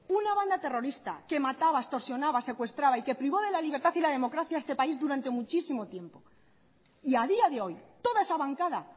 una banda terrorista que mataba extorsionaba secuestraba y que privó de la libertad y la democracia a este país durante muchísimo tiempo y a día de hoy toda esa bancada